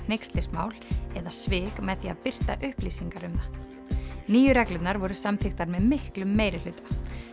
hneykslismál eða svik með því að birta upplýsingar um það nýju reglurnar voru samþykktar með miklum meirihluta